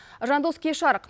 жандос кеш жарық